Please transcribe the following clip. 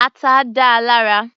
Ata dáa lára.